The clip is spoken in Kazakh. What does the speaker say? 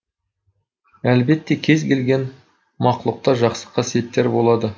әлбетте кез келген мақлұқта жақсы қасиеттер болады